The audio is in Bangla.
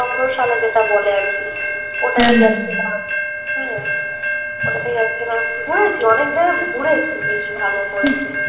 সংগ্রশালা বলে যেটা আরকি ওটাতে গেছিলাম হম ঘুরেছি অনেক জায়গা ঘুরেছি বেশ ভালো করে